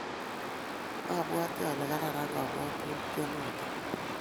mabwoti ale kararan kabwotutienoto